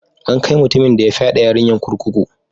An kai mutumin de ya fyade yarinyan kurkuku.